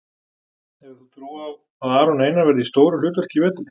Hefur þú trú á að Aron Einar verði í stóru hlutverki í vetur?